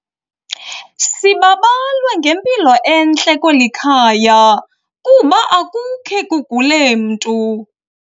Sibabalwe ngempilo entle kweli khaya kuba akukhe kugule mntu.